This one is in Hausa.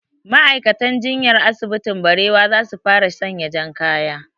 Ma'aikatan jinyan asibitin barewa za su fara saka jan kaya